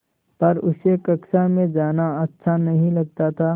पर उसे कक्षा में जाना अच्छा नहीं लगता था